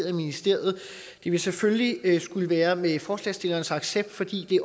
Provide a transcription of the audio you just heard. af ministeriet det ville selvfølgelig skulle være med forslagsstillernes accept fordi det